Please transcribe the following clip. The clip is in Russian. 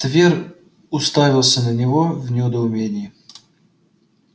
твер уставился на него в недоумении